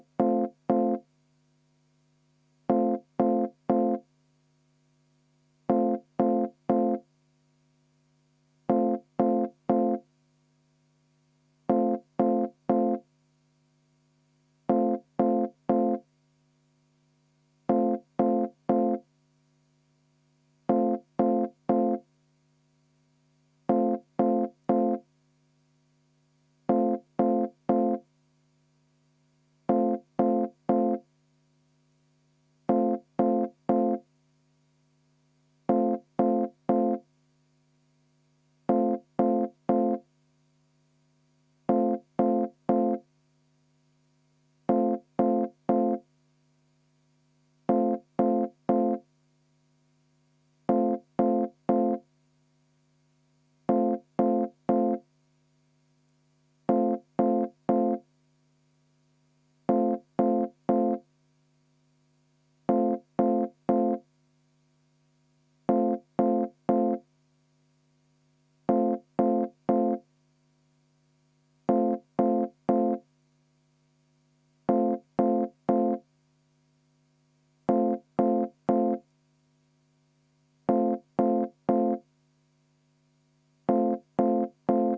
V a h e a e g